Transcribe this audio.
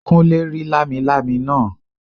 Kúnlé rí lámilámi náà